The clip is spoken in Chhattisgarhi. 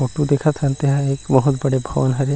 फोटो देखत हन तेन ह एक बहुत बड़े भवन हरे।